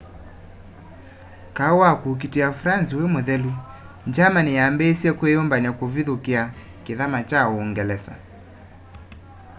kaũ wa kũũkitĩa france wĩ mũthelu germany yaambĩsye kwiyũmbany'a kuvithukia kithama kya uungelesa